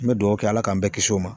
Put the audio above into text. N bɛ duwɔwu kɛ Ala k'an bɛɛ kisi o ma